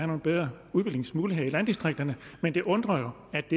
nogle bedre udviklingsmuligheder i landdistrikterne men det undrer jo at